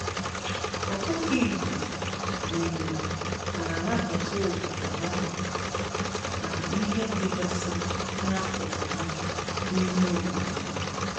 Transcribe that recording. Ọkụkọ igbo na igbo na anabata obodo ha nọ na ihe dịgasị n'akụkụ ha n'ime obodo ha.